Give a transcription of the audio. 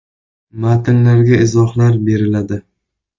Matnlarga izohlar beriladi.